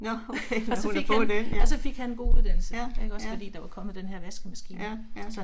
Nå okay nåh hun har fået den, ja. Ja, ja. Ja, ja